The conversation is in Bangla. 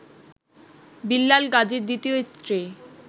বিল্লাল গাজীর দ্বিতীয় স্ত্রী